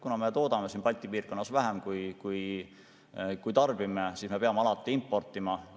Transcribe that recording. Kuna me toodame siin Balti piirkonnas vähem, kui tarbime, siis me peame alati importima.